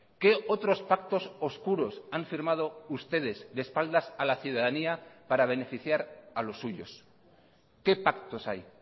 qué otros pactos oscuros han firmado ustedes de espaldas a la ciudadanía para beneficiar a los suyos qué pactos hay